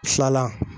Fila la